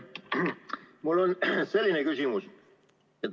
Mul on selline küsimus.